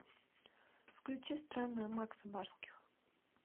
включи странная макса барских